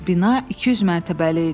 Bina 200 mərtəbəli idi.